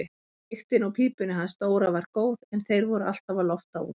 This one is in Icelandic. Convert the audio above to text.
Lyktin úr pípunni hans Dóra var góð en þeir voru alltaf að lofta út.